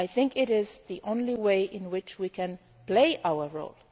duty. It is the only way in which we can play our